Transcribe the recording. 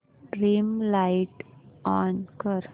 dim light on कर